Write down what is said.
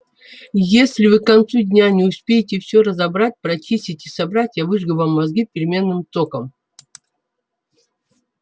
если вы к концу дня не успеете всё разобрать прочистить и собрать я выжгу вам мозги переменным током